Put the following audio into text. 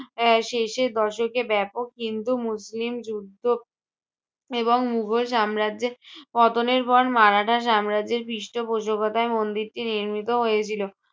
এর শেষের দশকে ব্যাপক হিন্দু মুসলিম যুদ্ধ এবং মুঘল সাম্রাজ্যে পতনের পর মারাঠা সাম্রাজ্যের পৃষ্টপোষকতায় মন্দিরটি নির্মিত হয়েছিল।